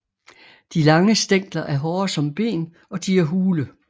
De lange stængler er hårde som ben og de er hule